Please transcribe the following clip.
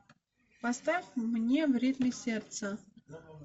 поставь мне в ритме сердца